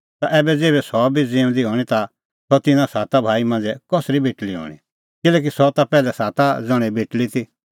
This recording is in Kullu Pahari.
ता ऐबै ज़ेभै सह भी ज़िऊंदी हणीं ता सह तिन्नां साता भाई मांझ़ै कसरी बेटल़ी हणीं किल्हैकि सह ता पैहलै साता ज़ण्हे बेटल़ी ती